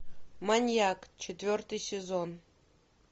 маньяк четвертый сезон